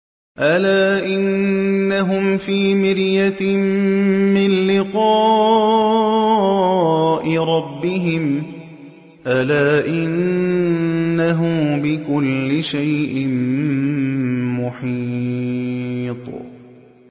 أَلَا إِنَّهُمْ فِي مِرْيَةٍ مِّن لِّقَاءِ رَبِّهِمْ ۗ أَلَا إِنَّهُ بِكُلِّ شَيْءٍ مُّحِيطٌ